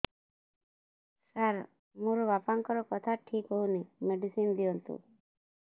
ସାର ମୋର ବାପାଙ୍କର କଥା ଠିକ ହଉନି ମେଡିସିନ ଦିଅନ୍ତୁ